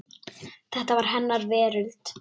Þetta var hennar veröld.